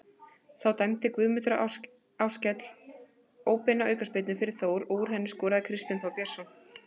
Þá dæmdi Guðmundur Ársæll óbeina aukaspyrnu fyrir Þór og úr henni skoraði Kristinn Þór Björnsson.